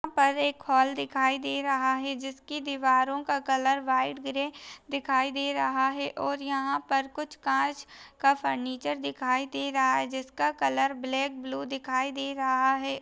यहाँ पर एक हॉल दिखाई दे रहा है जिसकी दीवारों का कलर व्हाइट ग्रे दिखाई दे रहा है और यहाँ पर कुछ कांच का फर्नीचर दिखाई दे रहा है जिसका कलर ब्लैक ब्लू दिखाई दे रहा है।